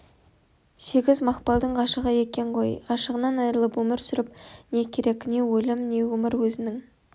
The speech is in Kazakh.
сегіз мақпалдың ғашығы екен ғой ғашығынан айрылып өмір сүріп не керек не өлім не өмір өзінің